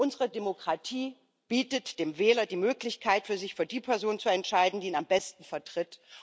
Unsere Demokratie bietet dem Wähler die Möglichkeit, sich für die Person zu entscheiden, die ihn am besten vertritt.